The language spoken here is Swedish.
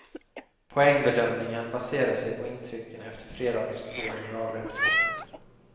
Poängbedömningen baserar sig på intrycken efter fredagens två generalrepetitioner.